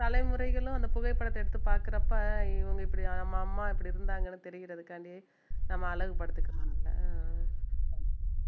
தலைமுறைகளும் அந்த புகைப்படத்தை எடுத்து பார்க்கிறப்ப இவங்க இப்படி நம்ப அம்மா இப்படி இருந்தாங்கன்னு தெரியறதுக்காண்டி நம்ம அழகு படுத்திக்கலாம் நம்மளை